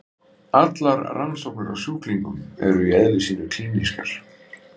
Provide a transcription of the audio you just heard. Allar rannsóknir á sjúklingum eru í eðli sínu klínískar.